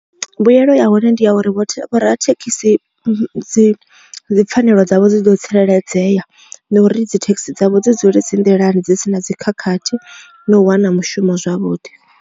Mbuyelo ya hone ndi ya uri vho rathekhisi dzi dzipfhanelo dzavho dzi ḓo tsireledzea na uri dzithekhisi dzavho dzi dzule dzi nḓilani dzi si na dzi khakhathi na u wana mushumo zwavhuḓi.